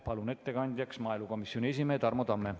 Palun ettekandjaks maaelukomisjoni esimehe Tarmo Tamme.